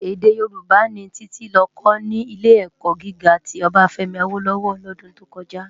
Èdè Yorùbá ni Titi lò kò ni Ilé-èkò gigá ti Obafemi Awolowo lòdún tó kòjá